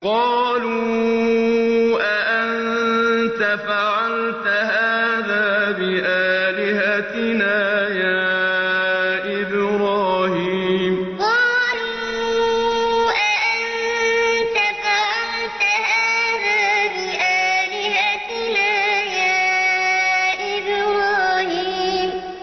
قَالُوا أَأَنتَ فَعَلْتَ هَٰذَا بِآلِهَتِنَا يَا إِبْرَاهِيمُ قَالُوا أَأَنتَ فَعَلْتَ هَٰذَا بِآلِهَتِنَا يَا إِبْرَاهِيمُ